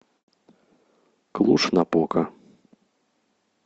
клуж напока